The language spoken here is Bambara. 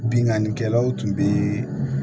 Binnkannikɛlaw tun bɛ